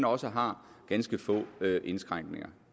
også har ganske få indskrænkninger